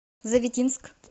завитинск